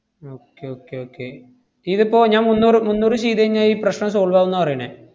okay okay okay ഇതിപ്പോ ഞാൻ മുന്നൂറു~ മുന്നൂറ് ചെയ്‌തു കഴിഞ്ഞാ ഈ പ്രശ്‌നം solve ആവൂന്നാ പറയണെ.